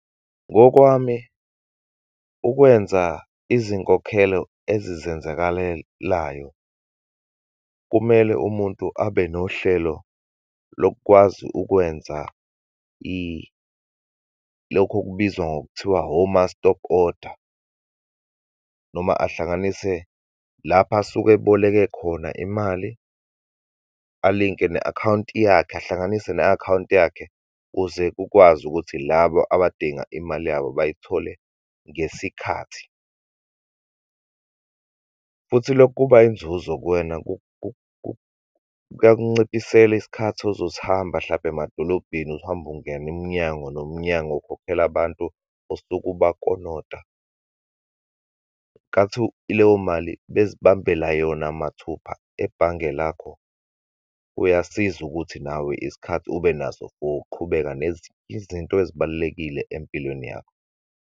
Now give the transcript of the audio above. Ngokwami, ukwenza izinkokhelo ezizenzakalelayo, kumele umuntu abe nohlelo lokwazi ukwenza lokhu okubizwa ngokuthiwa woma-stop order, noma ahlanganise lapho asuke eboleke khona imali, alinke ne akhawunti yakhe, ahlanganise ne akhawunti yakhe, kuze kukwazi ukuthi labo abadinga imali yabo bayithole ngesikhathi. Futhi lokho kuba inzuzo kuwena, kuyakunciphisela isikhathi ozosihamba, hlampe emadolobheni, uhambe ungena umnyango nomnyango ukhokhela abantu osuke ubakolota. Nkanthi leyo mali bezibambela yona mathupha ebhange lakho, kuyasiza ukuthi nawe isikhathi ube naso for ukuqhubeka nezinye izinto ezibalulekile empilweni yakho.